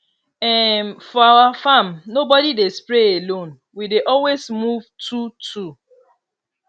um for our farm nobody dey spray alone we dey always move twotwo